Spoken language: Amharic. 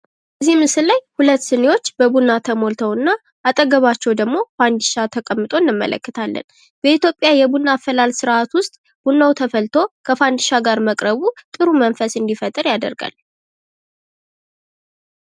በዚህ ምስል ላይ ሁለት ስኒዎች በቡና ተሞልተዉ እና አጠገባቸዉ ደግሞ ፈንዲሻ ተቀምጦ ይታያል።